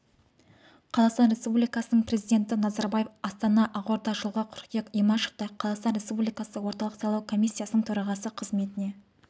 қазақстан республикасының президенті назарбаев астана ақорда жылғы қыркүйек имашевты қазақстан республикасы орталық сайлау комиссиясының төрағасы қызметіне